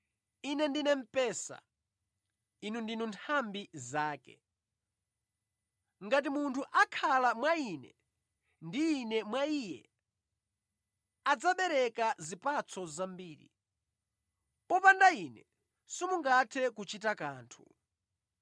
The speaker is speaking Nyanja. “Ine ndine mpesa; inu ndinu nthambi zake. Ngati munthu akhala mwa Ine ndi Ine mwa iye, adzabereka zipatso zambiri; popanda Ine simungathe kuchita kanthu.